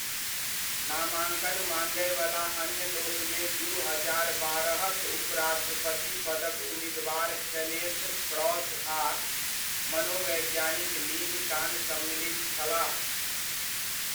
नामाङ्कन माँगय वला अन्य लोकमे दू हजार बारह'क उपराष्ट्रपति पदक उम्मीदवार केनेथ क्रॉस आ मनोवैज्ञानिक लिन कान सम्मिलित छलाह।